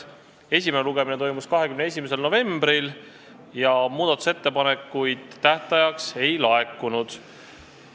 Esimene lugemine toimus 21. novembril ja muudatusettepanekuid tähtajaks ei laekunud.